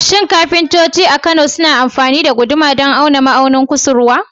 Shin kafintoci a Kano suna amfani da guduma don auna ma'aunin kusurwa?